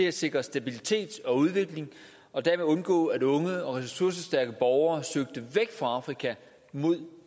at sikre stabilitet og udvikling og derved undgå at unge og ressourcestærke borgere søger væk fra afrika mod